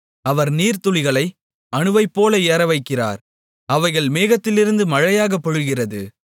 அவர் நீர்த்துளிகளை அணுவைப்போல ஏறவைக்கிறார் அவைகள் மேகத்திலிருந்து மழையாக பொழிகிறது